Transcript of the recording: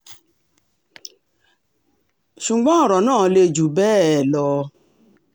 ṣùgbọ́n ọ̀rọ̀ náà le jù bẹ́ẹ̀ lọ